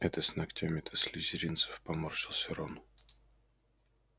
это с ногтями-то слизеринцев поморщился рон